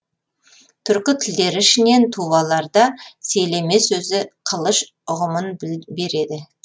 түркі тілдері ішінен туваларда селеме сөзі қылыш ұғымын береді